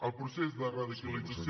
el procés de radicalització